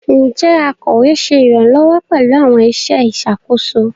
Njẹ akọwe ṣe iranlọwọ pẹlu awọn iṣẹ iṣakoso?